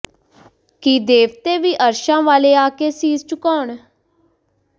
ਕਿ ਦੇਵਤੇ ਵੀ ਅਰਸ਼ਾਂ ਵਾਲੇ ਆ ਕੇ ਸੀਸ ਝੁਕਾਉਣ